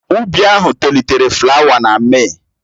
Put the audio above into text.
Ụbi ahụ tolitere flawa na Mee.